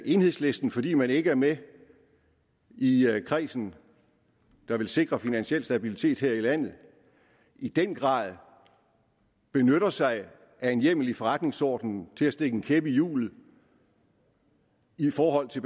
i enhedslisten fordi man ikke er med i kredsen der vil sikre finansiel stabilitet her i landet i den grad benytter sig af en hjemmel i forretningsordenen til at stikke en kæp i hjulet i forhold til